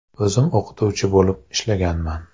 O‘zim o‘qituvchi bo‘lib ishlaganman.